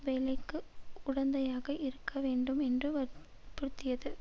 வேலைக்கு உடந்தையாக இருக்க வேண்டும் என்றும் வற்புறுத்தியது